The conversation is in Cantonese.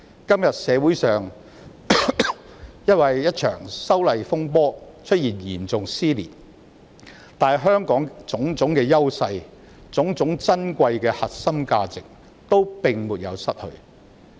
今天，社會上因為一場修例風波而出現嚴重撕裂，但香港的種種優勢和珍貴核心價值均沒有失去。